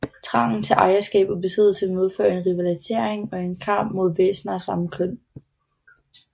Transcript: Trangen til ejerskab og besiddelse medfører en rivalisering og en kamp mod væsener af samme køn